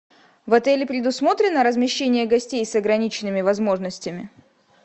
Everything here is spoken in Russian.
в отеле предусмотрено размещение гостей с ограниченными возможностями